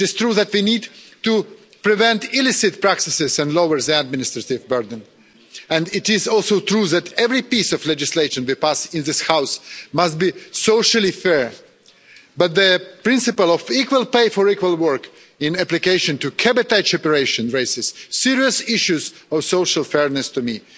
It is true that we need to prevent illicit practices and lower the administive burden, and it is also true that every piece of legislation we pass in this House must be socially fair, but the principle of equal pay for equal work in application to cabotage operations raises serious issues of social fairness for me.